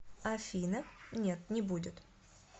афина нет не будет